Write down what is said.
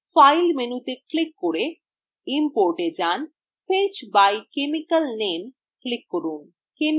file menu তে click করে importএ যান fetch by chemical nameএ click করুন